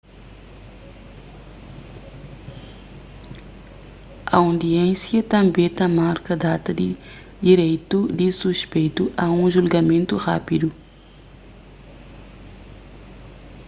aundiénsia tanbê ta marka data di direitu di suspeitu a un julgamentu rápidu